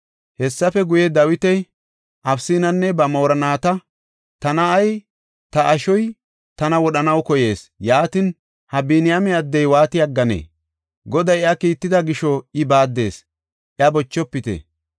Hessafe guye, Dawiti Abisanne ba moorinnata, “Ta na7ay, ta ashoy, tana wodhanaw koyees; yaatin, ha Biniyaame addey waati aggane! Goday iya kiitida gisho I baaddees, iya bochofite.